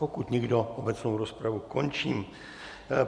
Pokud nikdo, obecnou rozpravu končím.